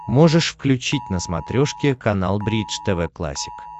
можешь включить на смотрешке канал бридж тв классик